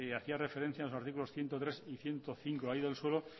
hacía referencia a los artículos ciento tres y ciento cinco de la ley del suelo